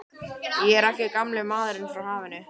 Ég er ekki gamli maðurinn frá hafinu.